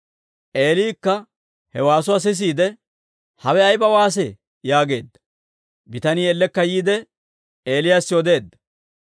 Eeliikka he waasuwaa sisiide, «Hawe ayba waasee?» yaageedda. Bitanii ellekka yiide, Eelew odeedda;